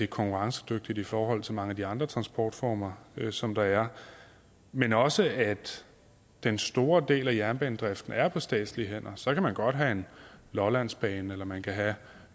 konkurrencedygtige i forhold til mange af de andre transportformer som der er men også at den store del af jernbanedriften er på statslige hænder så kan man godt have en lollandsbane eller man kan have